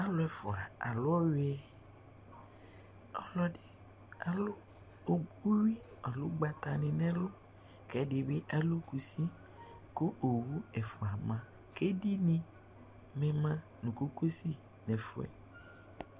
Alu ɛfua alu ɔyɛ ɔlɔdi alu uyui alo ugbatani nɛlu kɛdi alu kusi ku owu ɛfua ma ku edini ma nu kokosi nɛfuɛ